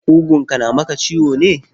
Ƙugunka na maka ciwo ne?